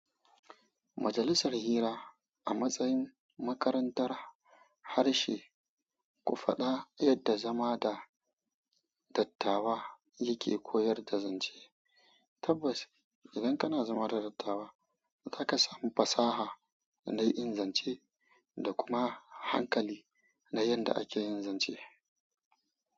Majalisar hira a matsayin makarantar harshe, ku faɗa yadda zama da dattawa yake koyar da zance. Tabbas idan kana zama da dattawa, kakan samu fasaha don ingance dakuma hankali na yadda ake yin zance.